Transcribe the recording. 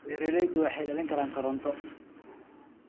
Beeraleydu waxay dhalin karaan koronto.